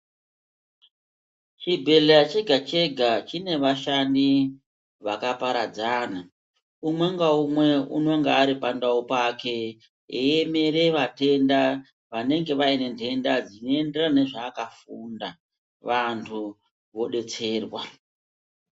Chi bhedhleya chega chega chine vashandi vaka paradzana umwe nga umwe unonga ari pa ndau pake eyi emere vatenda vanenge vaine dhenda dzino enderana ne zva aka funda vantu vo detserwa.